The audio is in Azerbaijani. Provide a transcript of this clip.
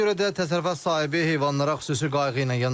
Ona görə də təsərrüfat sahibi heyvanlara xüsusi qayğı ilə yanaşır.